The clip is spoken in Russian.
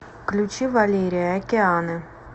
включи валерия океаны